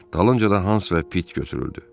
Dalınca da Hans və Pit götürüldü.